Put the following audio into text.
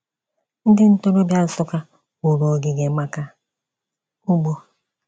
Ndị ntorobia Nsukka wuru ogige maka ugbo.